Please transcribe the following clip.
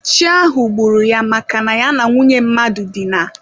Chi ahụ gburu ya maka na ya na nwunye mmadụ dina.